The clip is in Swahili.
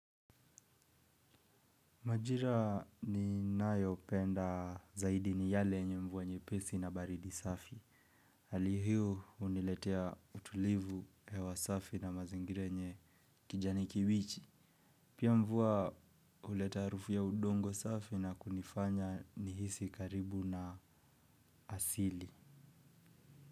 Majira ninayopenda zaidi ni yale yenye mvua nyepesi na baridi safi. Hali hio huniletea utulivu hewa safi na mazingira yenye kijani kiwichi. Pia mvua huleta harufu ya udongo safi na kunifanya nihisi karibu na asili.